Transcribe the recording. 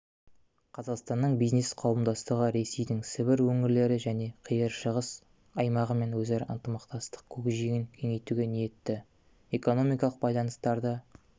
қазақстанның бизнес-қауымдастығы ресейдің сібір өңірлері және қиыр шығыс аймағымен өзара ынтымақтастық көкжиегін кеңейтуге ниетті экономикалық байланыстарды